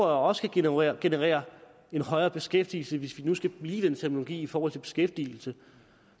også kan generere generere en højere beskæftigelse hvis vi nu skal blive i den terminologi i forhold til beskæftigelse